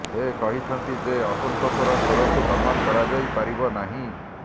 ସେ କହିଛନ୍ତି ଯେ ଅସନ୍ତୋଷର ସ୍ବରକୁ ଦମନ କରାଯାଇପାରିବ ନାହିଁ